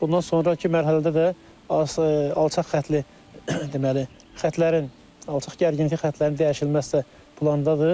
Bundan sonrakı mərhələdə də aşağı alçaq xəttli deməli, xətlərin, alçaq gərginlikli xətlərin dəyişilməsi də plandadır.